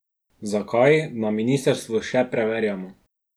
Zakaj, na ministrstvu še preverjamo.